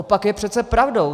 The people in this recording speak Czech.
Opak je přece pravdou!